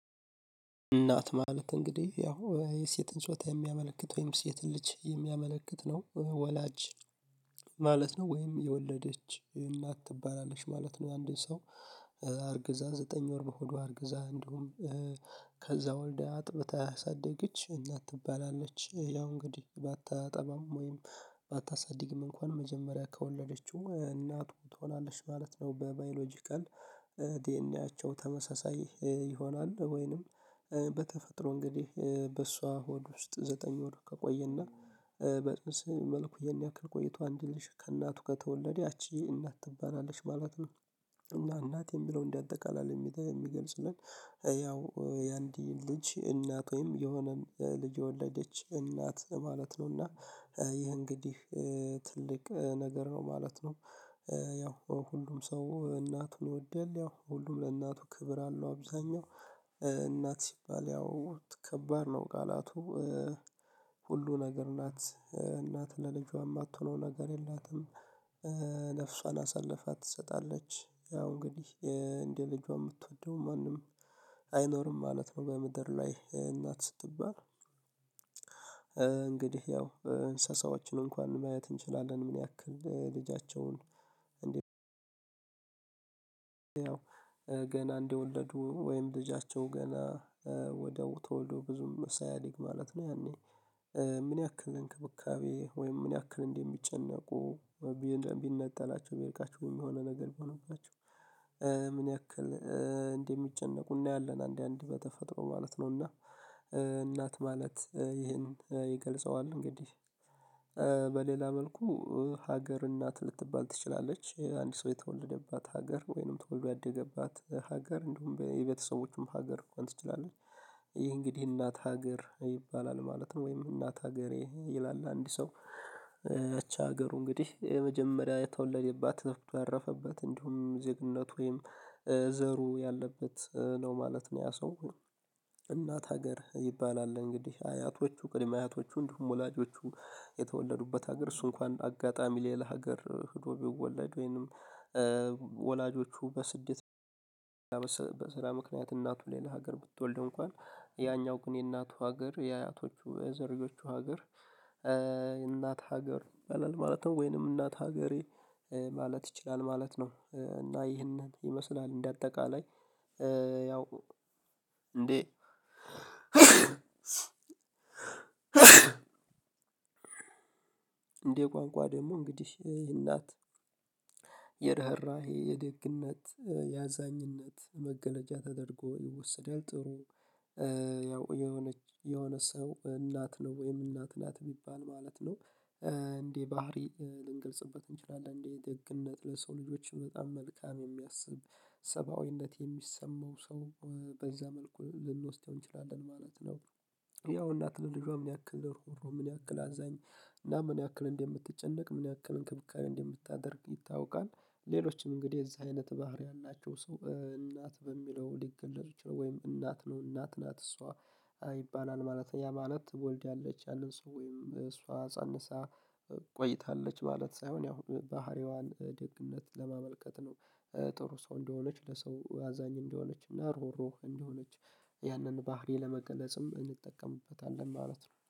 እናት ማለት እንግዲህ ያው የሴትን ጾታ የሚያመለክት ወይም ሴትን ልጅ የሚያመለክት ነው ወላጅ ማለት ነው ወይም የወለደች እናት ትባላለች ማለት ነው። አንድን ሰው አርግዛ ዘጠኝ ወር በሆዷ አርግዛ እንዲሁም ከዛ ወልደ አጥብታ አሳደገች እናት ትባላለች ያው እንግዲህ ባታጠባም ወይም ባታሳድግም እንኳን መጀመሪያ ከወለደችው እናቱ ትሆናለች ማለት ነው። በባዮሎጂካል ዲኤንኤያቸው ተመሳሳይ ይሆናል ወይንም በተፈጥሮ እንግዲህ በእሷ ሆድ ውስጥ ዘጠኝ ወር ከቆየና በጽንስ መልኩ የኔ ያክል ቆይቷል አንድ ልጅ ከእናቱ ከተወለደ ያቺ እናት ትባላለች ማለት ነው። እና እናት የሚለውን በአጠቃላይ የሚገልጽልን ያው የአንድ ልጅ እናት ወይም የሆነ ልጅ የወለደች እናት ማለት ነው። እና ይሄ እንግዲህ ትልቅ ነገር ነው ማለት ነው። ያው ሁሉም ሰው እናት እንወዳለን ሁሉም ለእናቱ ክብር አለው። አብዛኛው እናት ሲባል ያው ከባድ ነው ቃላቱ ሁሉ ነገር ናት እናት ለልጇም አትሆነው ነገር የላትም። ነፍሷን አሳልፋ ትሰጣለች ያው እንግዲህ እንደ ልጇ የምትወደው ማንም አይኖርም ማለት ነው። በምድር ላይ እናት ስትባል። እንግዲህ ያው እንስሳዎችን እንኳን ማየት እንችላለን ምን ያክል ልጃቸውን? ገና እንደወለዱ ወይም ልጃቸው ገና ተወልዶ ብዙም ሳያ ድግ ማለት ነው። ያኔ ምን ያክል እንክብካቤ ወይም ምን ያክል እንደሚጨነቁ። ቢነጠላቸው ቢልቃቸው የሆነ ነገር ቢሆንባቸው ምን ያክል እንደሚጨነቁ እናያለን። አንዳንዴ በተፈጥሮ ማለት ነው እና እናት ማለት ይሄን ይገልጸዋል እንግዲህ። በሌላ መልኩ ሀገር እናት ልትባል ትችላለች አንድ ሰው የተወለደባት ሀገር ወይንም ተወልዶ ያደገባት ሀገር እንደውም የቤተሰቦችም ሀገር እንኳን ትችላለች። ይሄ እንግዲህ እናት ሀገር ይባላል ማለትም ወይም እናት ሀገሬ ይላል አንድ ሰው እቺ ሀገሩ እንግዲህ የመጀመሪያ የተወለደባት ያረፈበት እንዲሁም ዜግነት ወይም ዘሩ ያለበት ነው ማለት ነው። ያ ሰው እናት ሀገር ይባላል። እንግዲህ አያቶቹ ቅድመ አያቶቹ እንዲሁም ወላጆቹ የተወለዱበት ሀገር እሱ እንኳን አጋጣሚ ሌላ ሀገር ሄዶ ቢወለድ ወይንም ወላጆቹ በስደት በስራ ምክንያት እናቱ ሌላ ሀገር ብትወልድ እንኳን ያኛው ግን የእናቱ ሀገር የአያቶቹ የዘርዮቹ ሀገር። የእናት ሀገር ይበላል ማለት ነው። ወይንም እናት ሀገሬ ማለት ይችላል ማለት ነው። እና ይህንን ይመስላል። እንደ አጠቃላይ ያው እንዴ? እንዴ ቋንቋ ደግሞ እንግዲህ ይሄ እናት የርህራሄ የደግነት ያዛኝነት መገለጫ ተደርጎ ይወስዳል። ጥሩ ያው የሆነ የሆነ ሰው እናት ነው ወይም እናት ናት የሚባል ማለት ነው። እንዴ ባህሪ ልንገልጽበት እንችላለን እንዴ ደግነት ለሰው ልጆች በጣም መልካም የሚያስብ ሰብአዊነት የሚሰማው ሰው በዛ መልኩ ልንወስደው እንችላለን ማለት ነው። ያው እናት ለልጇ ምን ያክል ምን ያክል አዛኝ እና ምን ያክል እንደምትጨነቅ ምን ያክል እንክብካቤ እንደምታደርግ ይታወቃል። ሌሎችም እንግዲህ እዛ አይነት ባህሪ ያላቸው ሰው እናት በሚለው ሊገለጹት ይችላሉ ወይም እናት ነው። እናት ናት እሷ ይባላል ማለት ያ ማለት ወልዳለች ያለን ሰው ወይም እሷ ፀንሳ ቆይታለች ማለት ሳይሆን ያው ባህሪዋን ደግነት ለማመልከት ነው። ጥሩ ሰው እንደሆነች ለሰው አዛኝ እንደሆነች እና ርህሩህ እንደሆነች ያንን ባህሪ ለመግለጽም እንጠቀምበታለን ማለት ነው